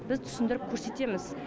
біз түсіндіріп көрсетеміз